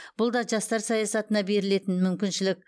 бұл да жастар саясатына берілетін мүмкіншілік